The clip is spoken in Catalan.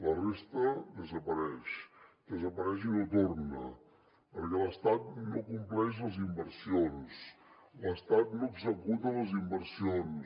la resta desapareix desapareix i no torna perquè l’estat no compleix les inversions l’estat no executa les inversions